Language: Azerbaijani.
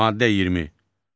Maddə 20.